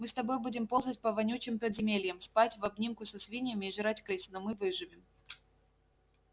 мы с тобой будем ползать по вонючим подземельям спать в обнимку со свиньями и жрать крыс но мы выживем